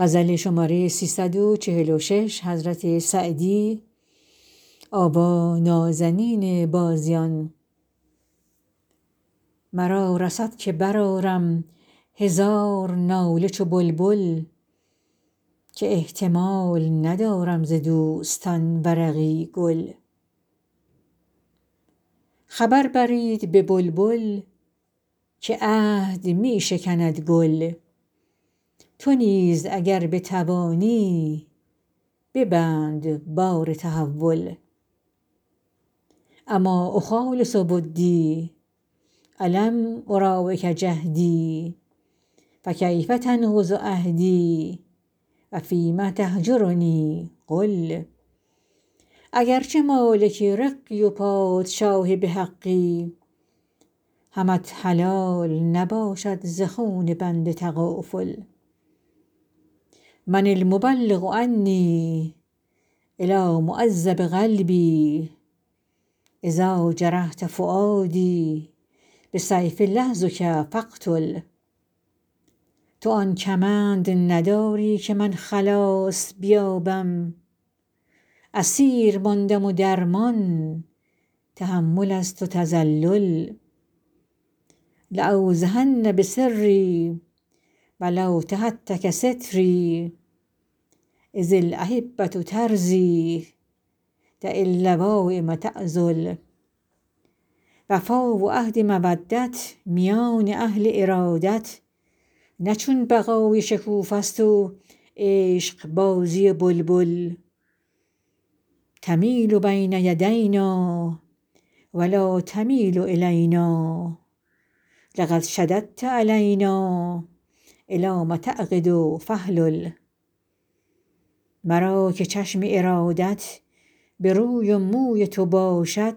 مرا رسد که برآرم هزار ناله چو بلبل که احتمال ندارم ز دوستان ورقی گل خبر برید به بلبل که عهد می شکند گل تو نیز اگر بتوانی ببند بار تحول أما أخالص ودی ألم أراعک جهدی فکیف تنقض عهدی و فیم تهجرنی قل اگر چه مالک رقی و پادشاه به حقی همت حلال نباشد ز خون بنده تغافل من المبلغ عنی إلیٰ معذب قلبی إذا جرحت فؤادی بسیف لحظک فاقتل تو آن کمند نداری که من خلاص بیابم اسیر ماندم و درمان تحمل است و تذلل لأوضحن بسری و لو تهتک ستری إذا الأحبة ترضیٰ دع اللوایم تعذل وفا و عهد مودت میان اهل ارادت نه چون بقای شکوفه ست و عشقبازی بلبل تمیل بین یدینا و لا تمیل إلینا لقد شددت علینا إلام تعقد فاحلل مرا که چشم ارادت به روی و موی تو باشد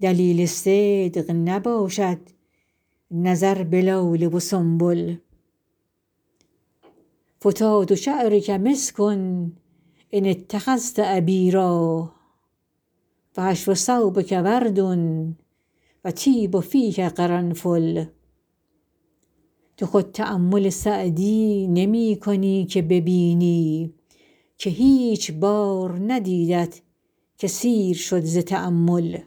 دلیل صدق نباشد نظر به لاله و سنبل فتات شعرک مسک إن اتخذت عبیرا و حشو ثوبک ورد و طیب فیک قرنفل تو خود تأمل سعدی نمی کنی که ببینی که هیچ بار ندیدت که سیر شد ز تأمل